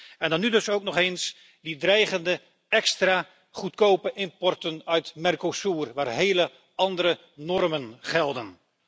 En dan nu dus ook nog eens die dreigende extra goedkope importen uit Mercosur, waar hele andere normen gelden.